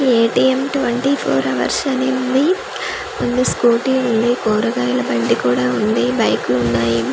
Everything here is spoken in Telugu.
ఏ_టి_ఏం ట్వెంటీ ఫోర్ హవర్స్ అని ఉంది అండ్ స్కూటీ ఉంది కూరగాయల బండి కూడా ఉంది బైక్లు ఉన్నాయి .